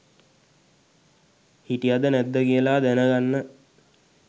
හිටියද නැද්ද කියල දැනගන්න.